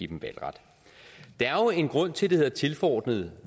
dem valgret der er jo en grund til at det hedder tilforordnede